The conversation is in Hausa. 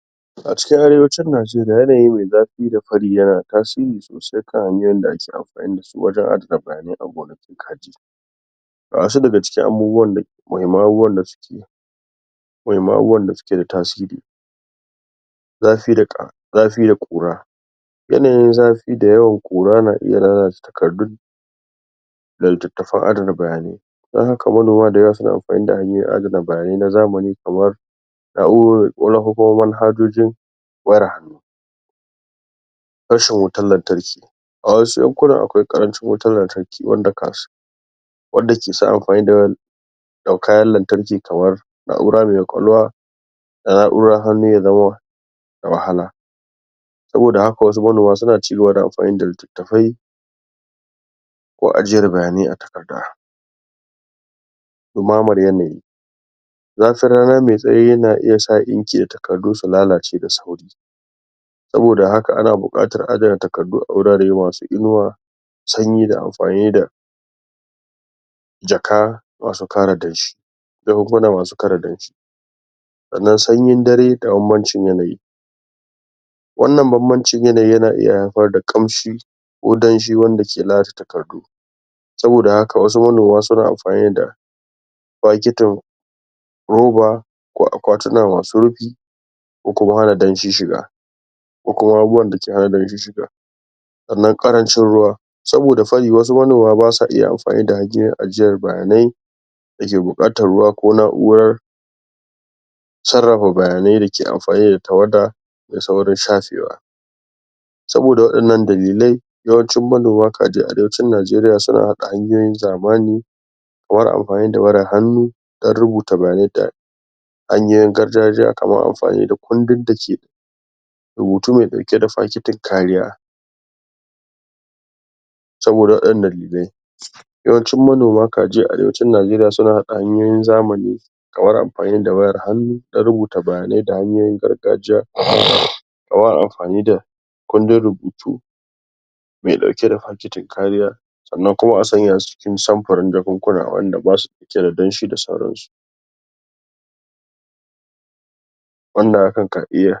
Iyaye na da matuƙar muhimmanci a wajen tabbatar da cewa abincin ƙari da suka ba wa jariri yana ɗauke da sinadarin gina jiki. dake buƙata. Ga wasu hanyoyi ga iyaye. za su bi don don tabbatar da cewa jariri na da samun lafiya. Abinci mai gina jiki. Fara da abinci mai sauƙi da lafiya. A lokutan da aka fara abinci na na ƙari a tsakanin watanni shida zuwa takwas iyaye ya kamata ku fara ba ba da abinci mai sauƙi kamar kamar su tuffa kamarsu tuffa da kankan da kayan lambu. kamar karas, da alayyaho, da kuma hatsi kamar shinkafa ko masara. wanda aka niƙa sosai don tabbatar da cewa jariri zai iya cin su, da sauƙi. Haɗa abinci mai gina jiki. Iyaye na iya haɗa abinci daban-daban don samar da gina jiki mai kyau. Kamar haɗa hatsi da ƴaƴan itatuwa kayan lambu da nono ko kuma madara da nama mai kyau da kuma kifi mai kitse. Wannan na iya taimakawa wajen, wajen samar da sinadari masu muhimmanci kamara "Protein" "Vitamin" da ma'adanai. Bar jariri ya ci a hankali iyaye za su iya ƙara nau'in abinci kamar "egg" kifi da kuma nono da na dabbobi ko na shanu wanda zai taimakawa wajen jariri "protein" da "chlorine" don taimakawa wajen bunƙasa jiki. Bar jariri ya sha ruwa idan jariri na cin abinci da ƙara yana da muhimmanci a ba shi ruwa domin guje wa bushewa da kuma taimaka wa tsarin narkewar abinci. Guji abinci mai nauyi ko mai ɗauke da sikari ko gishiri. Iyaye na iyaye ya kamata su ji ko ba wa jariri. Su guji ba wa jariri abinci mai nauyi ko abinci mai ɗauke da sikari da gishiri fiye da kima domin wannan na iya kawo matsaloli ga lafiya.